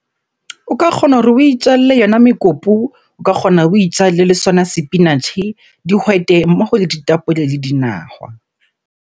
O ka kgona hore o itjalle yona mekopu. O ka kgona o itjalle le sona sepinatjhe, dihwete mmoho le ditapole le dinahwa.